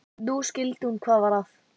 Nú skildi hún hvað var að.